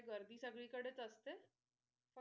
गर्दी सगळीकडे असते.